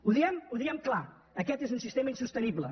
ho diem clar aquest és un sistema insostenible